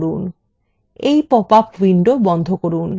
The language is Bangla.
এবং এই পপআপ window বন্ধ করুন